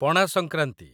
Pana Sankranti